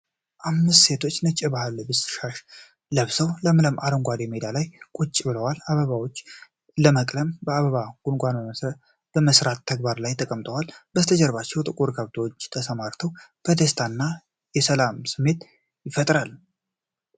አምስት ሴቶች ነጭ የባህል ልብስና ሻሽ ለብሰው፣ ለምለም አረንጓዴ ሜዳ ላይ ቁጭ ብለዋል። አበባዎችን በመልቀም የአበባ ጉንጉን የመስራት ተግባር ላይ ተጠምደዋል። ከበስተጀርባ ጥቁር ከብቶች ተሰማርተዋል፤ የደስታና የሠላም ስሜት ይፈጥራል።